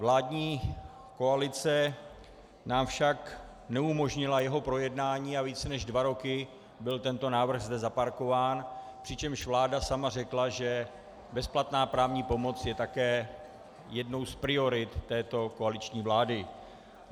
Vládní koalice nám však neumožnila jeho projednání a více než dva roky byl tento návrh zde zaparkován, přičemž vláda sama řekla, že bezplatná právní pomoc je také jednou z priorit této koaliční vlády.